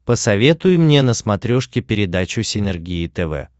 посоветуй мне на смотрешке передачу синергия тв